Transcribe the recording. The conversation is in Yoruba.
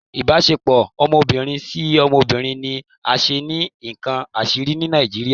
Ibasepo ọmọbirin si ọmọbirin ni a ṣe ni nkán asiri ni Nijiriria